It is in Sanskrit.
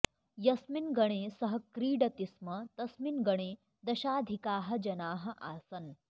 यस्मिन् गणे सः क्रीडति स्म तस्मिन् गणे दशाधिकाः जनाः आसन्